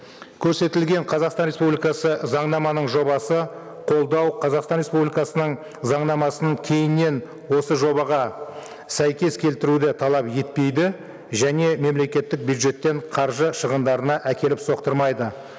көрсетілген қазақстан республикасы заңнаманың жобасы қолдау қазақстан республикасының заңнамасын кейіннен осы жобаға сәйкес келтіруді талап етпейді және мемлекеттік бюджеттен қаржы шығындарына әкеліп соқтырмайды